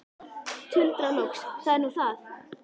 Tuldra loks: Það er nú það.